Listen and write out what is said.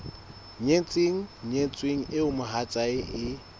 nyetseng nyetsweng eo mohatsae e